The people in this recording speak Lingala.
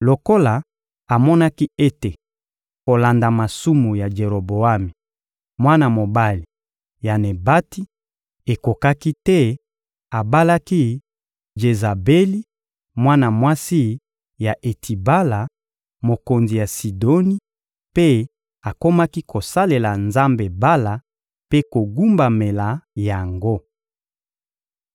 Lokola amonaki ete kolanda masumu ya Jeroboami, mwana mobali ya Nebati, ekokaki te, abalaki Jezabeli, mwana mwasi ya Etibala, mokonzi ya Sidoni, mpe akomaki kosalela nzambe Bala mpe kogumbamela yango.